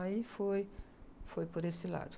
Aí foi, foi por esse lado.